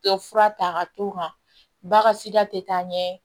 Tɛ fura ta ka t'o kan bagasida tɛ taa ɲɛ